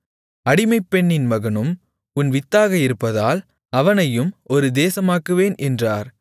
அடிமைப்பெண்ணின் மகனும் உன் வித்தாக இருப்பதால் அவனையும் ஒரு தேசமாக்குவேன் என்றார்